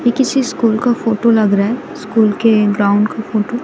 ये किसी स्कूल का फोटो लग रहा है स्कूल के ग्राउंड का फोटो ।